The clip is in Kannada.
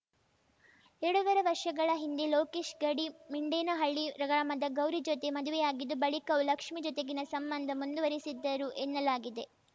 ಎರಡೂವರೆ ವರ್ಷಗಳ ಹಿಂದೆ ಲೋಕೇಶ್‌ ಗಡಿಮಿಂಡೇನಹಳ್ಳಿ ಗ್ರಾಮದ ಗೌರಿ ಜೊತೆ ಮದುವೆಯಾಗಿದ್ದು ಬಳಿಕವೂ ಲಕ್ಷ್ಮೀ ಜೊತೆಗಿನ ಸಂಬಂಧ ಮುಂದುವರಿಸಿದ್ದರು ಎನ್ನಲಾಗಿದೆ